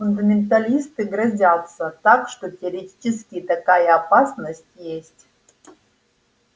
фундаменталисты грозятся так что теоретически такая опасность есть